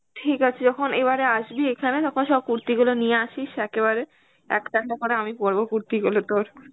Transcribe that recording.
ঠিক আছে যখন এবারে আসবি এখানে তখন সব কুর্তিগুলো নিয়ে আসিস একেবারে একটা একটা করে আমি পড়বো কুর্তি গুলো তোর.